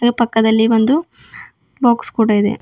ಹಾಗೆ ಪಕ್ಕದಲ್ಲಿ ಒಂದು ಬಾಕ್ಸ್ ಕೂಡ ಇದೆ.